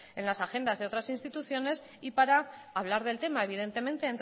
en las agendas de otras instituciones y para hablar del tema evidentemente